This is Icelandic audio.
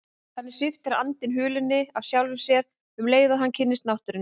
Þannig sviptir andinn hulunni af sjálfum sér um leið og hann kynnist náttúrunni.